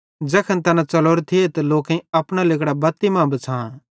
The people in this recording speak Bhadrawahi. ज़ैखन तैना च़लोरे थिये त लोकेईं अपना लिगड़ां बत्ती मां बिछ़ां